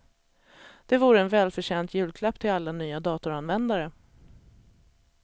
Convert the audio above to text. Det vore en välförtjänt julklapp till alla nya datoranvändare.